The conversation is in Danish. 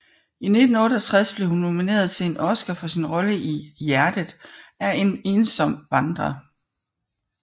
I 1968 blev hun nomineret til en Oskar for sin rolle i Hjertet er en ensom vandrer